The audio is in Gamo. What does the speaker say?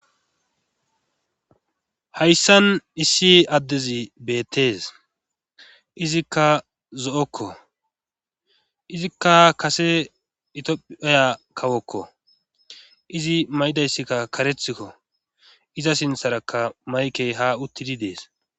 Hayssan issi addezi beettees izikka zo'okko izikka a kase itph oya kawokko izi may'idayssikka karethikko iza sintharakka mayke ha uttidi dees.